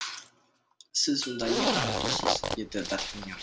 сіз онда не қарап тұрсыз деді д артаньян